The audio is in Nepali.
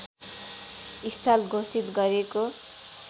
स्थल घोषित गरेको